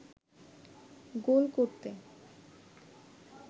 গোল করতে